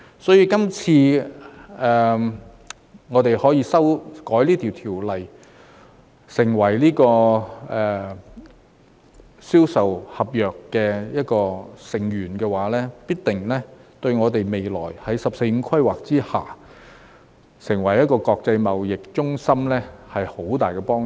所以，今次修改這項條例草案，成為《銷售公約》的一個成員，必定對我們未來在"十四五"規劃下，成為一個國際貿易中心有很大幫助。